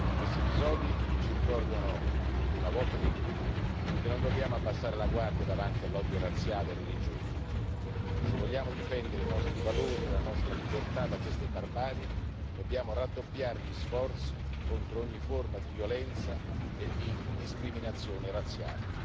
Questi episodi ci ricordano una volta di più che non dobbiamo abbassare la guardia davanti all'odio razziale e religioso se vogliamo difendere i nostri valori e la nostra libertà da queste barbarie, dobbiamo raddoppiare gli sforzi contro ogni forma di violenza e di discriminazione razziale.